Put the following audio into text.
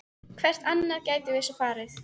Hvert annað gætum við svo sem farið?